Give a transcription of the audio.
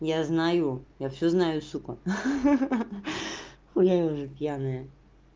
я знаю я всё знаю сука ха-ха я уже пьяная